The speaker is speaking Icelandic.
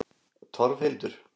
Torfhildur